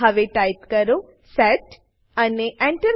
હવે ટાઈપ કરો સેટ અને Enter